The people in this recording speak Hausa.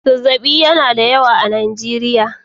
Zazzaɓi yana da yawa a Najeriya.